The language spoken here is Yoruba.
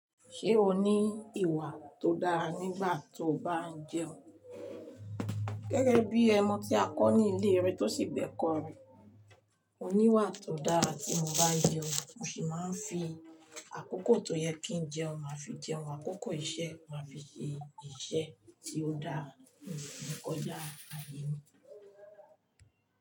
Ṣé o ní ìwà tó dára nígbà tí o bá ń jẹun? Gẹ́gẹ́ bí omo tí a kọ́ ní ilé rẹ̀ tó sì gbẹ̀ kọ́ rẹ̀. Mo ní ìwà tó dára tí mo bá jẹun. Mo sì máa ń fi àkókò tó yẹ kí n jẹun máa fi jẹun, àkókò iṣẹ́ máa fi ṣe iṣẹ́ tí ó dára. Òǹkọjá ààyè mi.